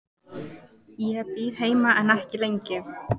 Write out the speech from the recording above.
Ég bíð heima en ekki lengi.